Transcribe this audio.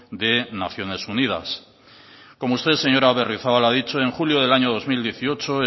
de naciones unidas como usted señora berriozabal ha dicho en julio del año dos mil dieciocho